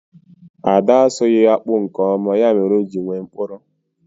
Ada asụghi akpu nke oma, ya mere o ji nwee mkpụrụ